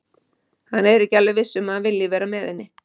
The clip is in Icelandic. Hann er ekki alveg viss um að hann vilji vera með henni.